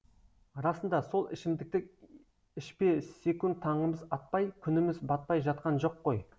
расында сол ішімдікті ішпесекунд таңымыз атпай күніміз батпай жатқан жоқ қой